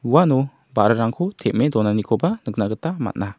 uano ba·rarangko tem·e donanikoba nikna gita man·a.